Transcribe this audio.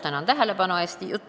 Tänan tähelepanu juhtimise eest!